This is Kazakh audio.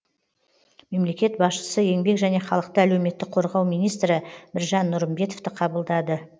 мемлекет басшысы еңбек және халықты әлеуметтік қорғау министрі біржан нұрымбетовті қабылдады